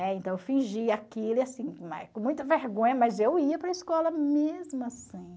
É, então eu fingia aquilo, e assim, né, com muita vergonha, mas eu ia para a escola mesmo assim.